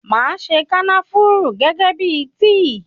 Máa se kànáfùrù gẹ́gẹ́ bíi tíì.